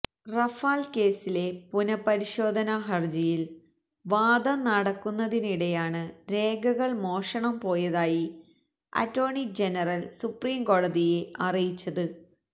Rafale കേസിലെ പുനഃപരിശോധനാ ഹർജിയിൽ വാദം നടക്കുന്നതിനിടെയാണ് രേഖകൾ മോഷണം പോയതായി അറ്റോർണി ജനറൽ സുപ്രീംകോടതിയെ അറിയിച്ചത്